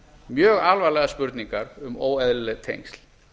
mjög alvarlegar spurningar um óeðlileg tengsl